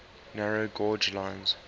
narrow gauge lines